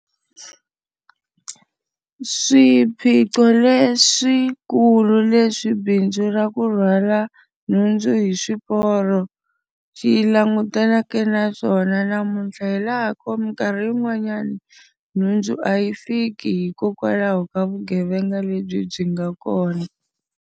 Swiphiqo leswikulu leswi bindzu ra ku rhwala nhundzu hi swiporo xi langutaneke na swona namuntlha hi laha ko minkarhi yin'wanyani, nhundzu a yi fiki hikokwalaho ka vugevenga lebyi byi nga kona.